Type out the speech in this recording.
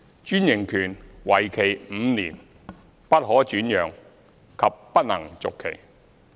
專營權為期5年，不可轉讓及不能續期。